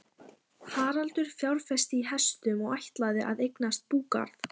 Haraldur fjárfesti í hestum og ætlaði að eignast búgarð.